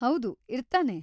ಹೌದು, ಇರ್ತಾನೆ.